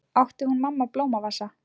Átti hún mamma blómavasa?